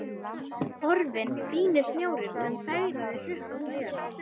Horfinn fíni snjórinn sem fegraði hrukkótta jörð.